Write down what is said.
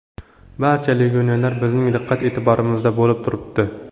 Barcha legionerlar bizning diqqat e’tiborimizda bo‘lib turibdi.